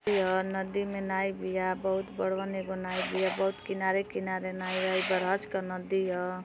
यह नदी में नाइ बिया बहुत बड़वन नाई बिया किनारे किनारे नाई बिया| बरहज का नदी ह|